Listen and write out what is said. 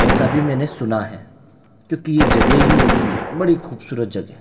ऐसा भी मैंने सुना है क्योंकि ये जगह ही ऐसी है बड़ी खूबसूरत जगह है।